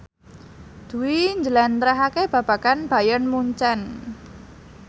Dwi njlentrehake babagan Bayern Munchen